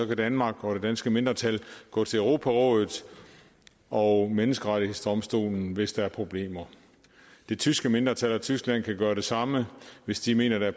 kan danmark og det danske mindretal gå til europarådet og menneskerettighedsdomstolen hvis der er problemer det tyske mindretal og tyskland kan gøre det samme hvis de mener at